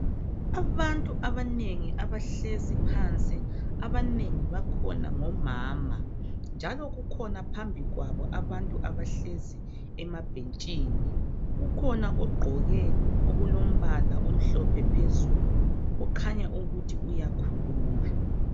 Abantu abanengi abahlezi phansi abanengi bakhona ngomama, njalo kukhona phambi kwabo abantu abahlezi emabhentshini. Kukhona ogqoke okulombala omhlophe phezulu okhanya ukuthi uyakhuluma.